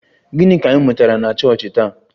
Gịnị ka ị mụtara na chọọchị taa?